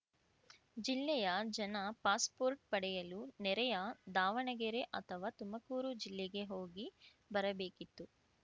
ಜಿಲ್ಲೆಯ ಜನ ಪಾಸ್‌ಪೋರ್ಟ್‌ ಪಡೆಯಲು ನೆರೆಯ ದಾವಣಗೆರೆ ಅಥವಾ ತುಮಕೂರು ಜಿಲ್ಲೆಗೆ ಹೋಗಿ ಬರಬೇಕಿತ್ತು